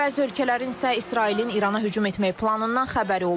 Bəzi ölkələrin isə İsrailin İrana hücum etmək planından xəbəri olub.